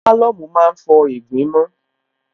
Álọ̀mù má ń fọ ìgbín mọ́n